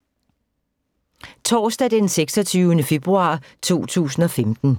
Torsdag d. 26. februar 2015